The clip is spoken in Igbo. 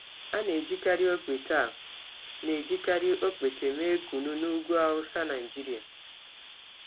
A na-ejikarị ọkpete A na-ejikarị ọkpete mee kunu n’ugwu Hausa, Nigeria.